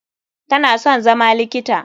Tana son zama likita.